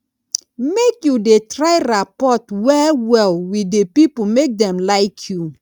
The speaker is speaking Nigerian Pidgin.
make you dey try rapport wellwell wit di pipo make dem like you